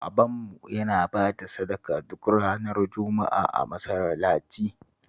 Babanmu yana ba da sadaka duk ranar Juma'a a masallaci